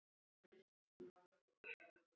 Elsku mamma og amma okkar.